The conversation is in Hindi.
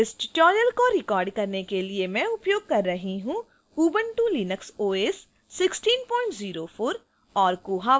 इस tutorial को record करने के लिए मैं उपयोग कर रही हूँ